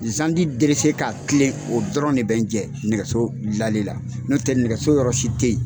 Zandi derese ka kilen o dɔrɔn de bɛ n jɛ nɛgɛso dilali n'o tɛ nɛgɛso yɔrɔsi tɛ ye.